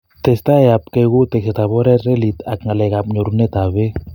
Testai ab kei kou tekset ab oret, relit ak ngalalet ak nyorunet ab peek